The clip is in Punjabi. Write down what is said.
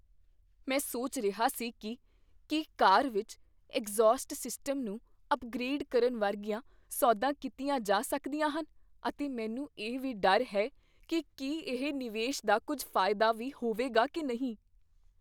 ਮੈਂ ਸੋਚ ਰਿਹਾ ਸੀ ਕੀ ਕੀ ਕਾਰ ਵਿੱਚ ਐਗਜ਼ੌਸਟ ਸਿਸਟਮ ਨੂੰ ਅਪਗ੍ਰੇਡ ਕਰਨ ਵਰਗੀਆਂ ਸੋਧਾਂ ਕੀਤੀਆਂ ਜਾ ਸਕਦੀਆਂ ਹਨ ਅਤੇ ਮੈਨੂੰ ਇਹ ਵੀ ਡਰ ਹੈ ਕੀ ਕੀ ਇਹ ਨਿਵੇਸ਼ ਦਾ ਕੁੱਝ ਫਾਇਦਾ ਵੀ ਹੋਵੇਗਾ ਕੀ ਨਹੀਂ।